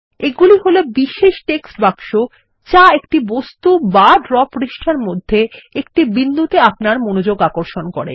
এগুলি হল বিশেষ টেক্সট বাক্স যা একটি বস্তু বা ড্র পৃষ্ঠার মধ্যে একটি বিন্দুতে আপনার মনোযোগ আকর্ষণ করে